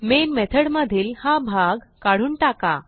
main method मधील हा भाग काढून टाका